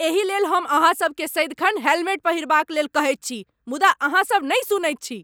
एही लेल हम अहाँसभकेँ सदिखन हेलमेट पहिरबाक लेल कहैत छी, मुदा अहाँसभ नहि सुनैत छी।